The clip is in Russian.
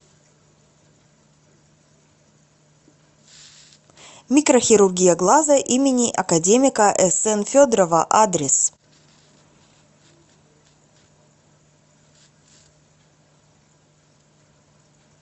микрохирургия глаза им академика сн федорова адрес